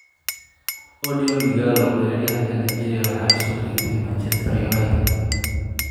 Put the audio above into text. Odion Ighalo: Weeraryahanka Nigeria waxaa la soo wareegtay Manchester United